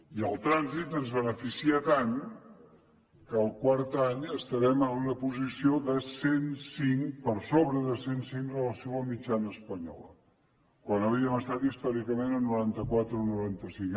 i el trànsit ens beneficia tant que el quart any estarem en una posició de cent cinc per sobre de cent cinc amb relació a la mitjana espanyola quan havíem estat històricament en norantaquatre o noranta cinc